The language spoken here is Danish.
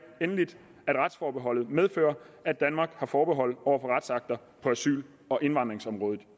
endelig at retsforbeholdet medfører at danmark har forbehold over for retsakter på asyl og indvandringsområdet